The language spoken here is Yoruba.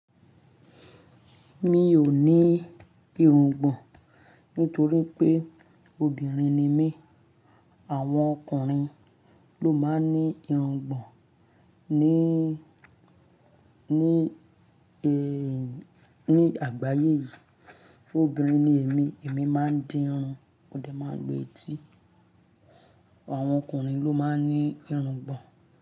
Mi ò ní ìrùngbọ̀n nítorí pé obìnrin ni mí. Àwọn ọkùnrin ló máa ń ní ìrùngbọ̀n ní, ní, ní àgbáyé yìí. Obìnrin ni émi, èmi máa ń dín irun, mọdẹ máa lu etí. Àwọn ọkùnrin ló máa ń ní ìrùngbọ̀n.